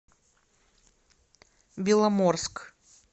беломорск